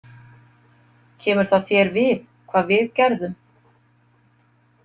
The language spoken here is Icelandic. Kemur það þér við hvað við gerðum?